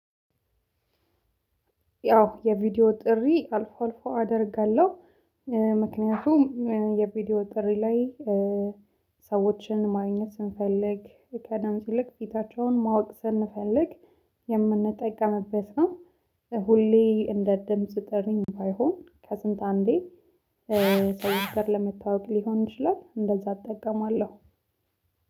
ያው የቪዲዮ ጥሪ አልፎ አልፎ አደርጋለሁ። ምክንያቱም የቪዲዮ ጥሪ ላይ ሰዎችን ማግኘት ስንፈልግ ከድምፅ ይልቅ ፊታቸውን ማወቅ ስንፈልግ የምንጠቀምበት ነው። ሁሌ እንደ ድምጽ ጥሪም ባይሆን ከስንት አንዴ። ሰው አገር ለመተዋወቅ ሊሆን ይችላል እንደዛ እጠቀማለሁ።